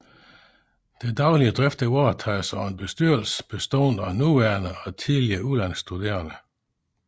Den daglige drift varetages af en bestyrelse bestående af nuværende og tidligere udlandsstuderende